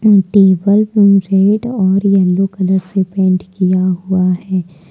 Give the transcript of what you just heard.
Table को red और yellow colour से पेंट किया हुआ है।